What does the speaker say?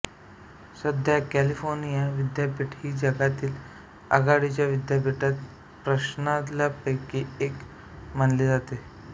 सध्या कॅलिफोर्निया विद्यापीठ ही जगातील आघाडीच्या विद्यापीठ प्रणाल्यांपैकी एक मानली जाते